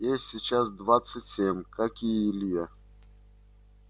ей сейчас двадцать семь как и илье